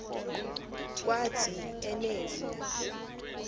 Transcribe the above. kwathi en v